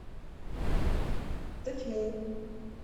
тотьму